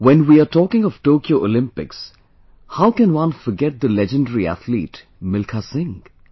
when we are talking of Tokyo Olympics, how can one forget the legendry athlete Milkha Singh